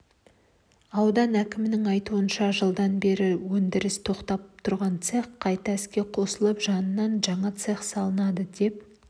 аудан әкімінің айтуынша жылданбері өндірісі тоқтап тұрған цех қайта іске қосылып жанынан жаңа цех салынады деп